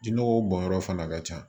Jinɔgɔw bɔnyɔrɔ fana ka ca